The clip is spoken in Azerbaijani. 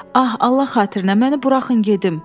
Ah, Allah xatirinə, məni buraxın gedim.